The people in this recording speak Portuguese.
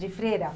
De freira.